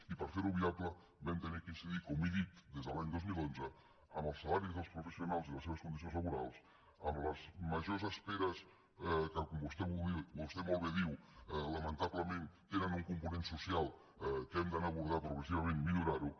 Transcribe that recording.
i per fer ho viable vam haver d’incidir com he dit des de l’any dos mil onze en els salaris dels professionals i les seves condicions laborals en les majors esperes que com vostè molt bé diu lamentablement tenen un component social que hem d’anar a abordar progressivament i millorar ho